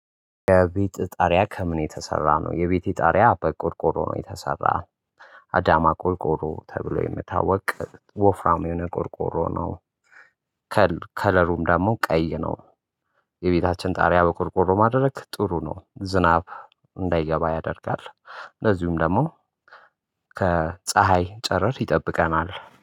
የቤት ጣሪያ ከምን የተሰራ ነው? የቤቴ ጣሪያ በቆርቆሮ ነው የተሰራው አዳማ ቆርቆሮ ተብሎ የሚታወቅ ወፍራም የሆነ ቆርቆሮ ነው። ከለሩም ደግሞ ቀይ ነው። የቤታችን ጣሪያ በቆርቆሮ ማድረግ ጥሩ ነው ዝናብ እንዳይገባ ያደርጋል እንደዚሁም ደግሞ ከፀሀይ ጨረር ይጠብቀናል።